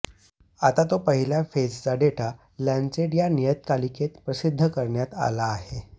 आता तो पहिल्या फेजचा डेटा लॅन्सेट या नियतकालिकेत प्रसिध्द करण्यात आला आहे